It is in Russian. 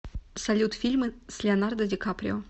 салют фильмы с леонардо ди каприо